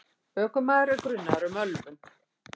Ökumaður er grunaður um ölvun.